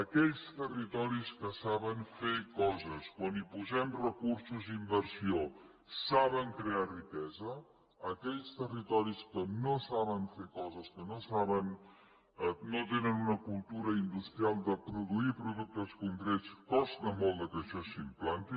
aquells territoris que saben fer coses quan hi posem recursos i inversió saben crear riquesa a aquells territoris que no saben fer coses que no tenen una cultura industrial de produir productes concrets costa molt que això s’implanti